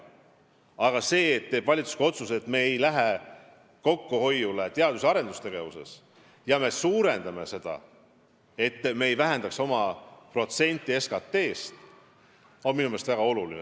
Ka see, et valitsus tegi otsuse mitte kokku hoida teadus- ja arendustegevuses ja seda summat suurendada, et ei väheneks protsent SKT-st, on minu meelest väga oluline.